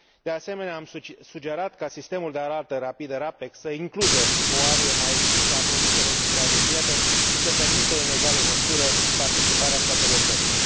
De asemenea, am sugerat ca sistemul de alertă rapidă RAPEC să includă o arie mai extinsă a produselor supravegheate și să permită, în egală măsură, participarea statelor terțe.